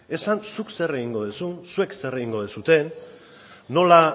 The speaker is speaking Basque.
esan zuk zer egingo duzun zuek zer egingo duzuen nola